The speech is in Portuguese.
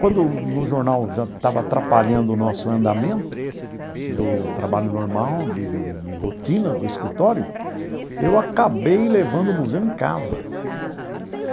Quando no jornal já estava atrapalhando o nosso andamento do trabalho normal, de de de de rotina, do escritório, eu acabei levando o museu em casa. Para sua casa?